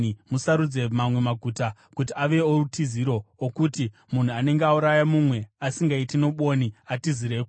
musarudze mamwe maguta kuti ave outiziro, okuti munhu anenge auraya mumwe asingaiti nobwoni atizireko.